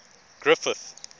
griffith